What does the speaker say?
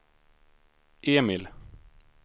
Emil